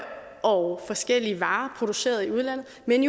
og forskellige varer produceret i udlandet men